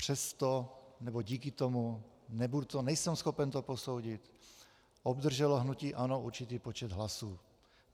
Přesto, nebo díky tomu, nejsem schopen to posoudit, obdrželo hnutí ANO určitý počet hlasů.